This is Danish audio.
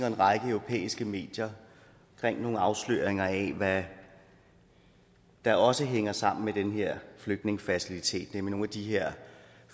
en række europæiske medier med nogle afsløringer af hvad der også hænger sammen med den her flygtningefacilitet nemlig nogle af de her